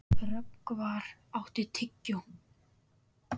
Rögnvar, áttu tyggjó?